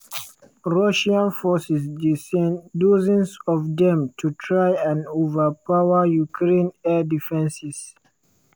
russian forces dey send dozens of dem to try and overpower ukraine air defences.